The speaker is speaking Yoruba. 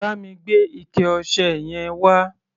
Bá mi gbé ike-ọṣẹ yẹn wá.